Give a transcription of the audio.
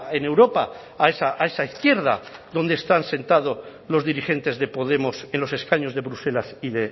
en europa a esa izquierda donde están sentados los dirigentes de podemos en los escaños de bruselas y